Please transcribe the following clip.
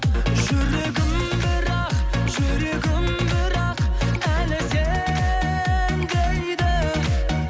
жүрегім бірақ жүрегім бірақ әлі сен дейді